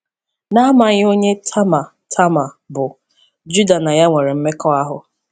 N’amaghị onye Tama Tama bụ, Juda na ya nwere mmekọahụ.